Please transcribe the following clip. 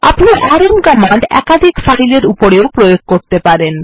আপনি rm command একাধিক file এর উপরেও প্রয়োগ করতে পারেন